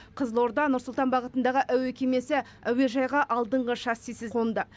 қызылорда нұр сұлтан бағытындағы әуе кемесі әуежайға алдыңғы шассисіз қонды